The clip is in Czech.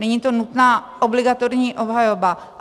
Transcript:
Není to nutná, obligatorní obhajoba.